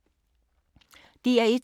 DR1